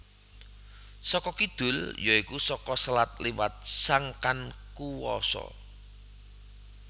Saka kidul ya iku saka selat liwat sangkan kuwasa